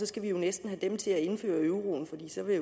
skal vi næsten have dem til at indføre euroen for så vil